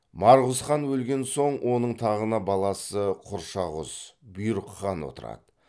марғұз хан өлген соң оның тағына баласы құршағұз бұйрық хан отырады